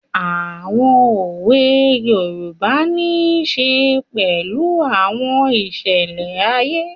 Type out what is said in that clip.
Àwọn òwe yoòbá nisè pẹ̀lú àwọn ìṣẹlẹ̀ ayé